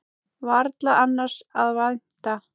Varla annars að vænta.